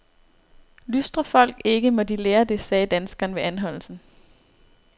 Lystrer folk ikke, må de lære det, sagde danskeren ved anholdelsen.